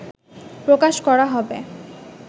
প্রকাশ করা হবে